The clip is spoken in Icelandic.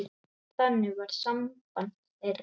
Þannig var samband þeirra.